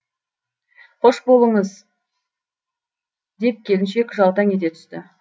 қош жолыңыз болсын деп келіншек жаутаң ете түсті